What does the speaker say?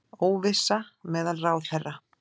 Óvissa meðal ráðherra